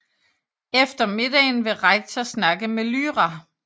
Efter middagen vil Rektor snakke med Lyra